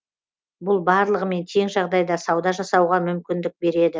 бұл барлығымен тең жағдайда сауда жасауға мүмкіндік береді